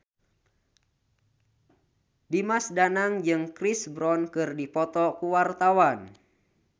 Dimas Danang jeung Chris Brown keur dipoto ku wartawan